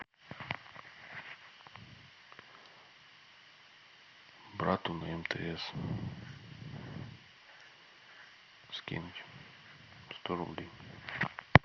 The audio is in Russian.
брату на мтс скинуть сто рублей